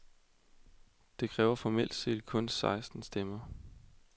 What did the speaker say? Det kræver formelt set kun seksten stemmer.